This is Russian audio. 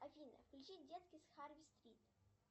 афина включи детки с харви стрит